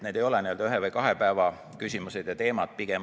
Need ei ole ühe või kahe päeva küsimused ja teemad.